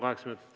Kaheksa minutit.